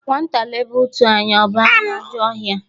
Nwata lebe ùtù anya ọ banye ajọ ọhia